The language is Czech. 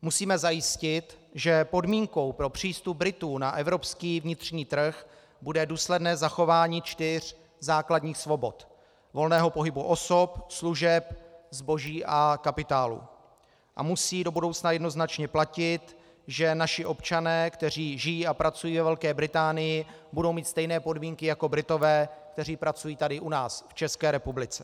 Musíme zajistit, že podmínkou pro přístup Britů na evropský vnitřní trh bude důsledné zachování čtyř základních svobod: volného pohybu osob, služeb, zboží a kapitálu a musí do budoucna jednoznačně platit, že naši občané, kteří žijí a pracují ve Velké Británii, budou mít stejné podmínky jako Britové, kteří pracují tady u nás v České republice.